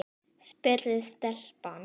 spurði telpan.